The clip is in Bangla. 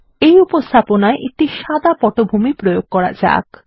এই উপস্থাপনায় একটি সাদা পটভূমি প্রয়োগ করা যাক